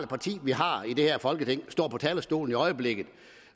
parti vi har i det her folketing står på talerstolen i øjeblikket